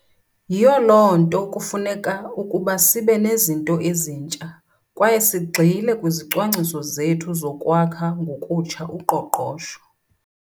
Yiyo loo nto kufuneka ukuba sibe nezinto ezintsha kwaye sigxile kwizicwangciso zethu zokwakha ngokutsha uqoqosho.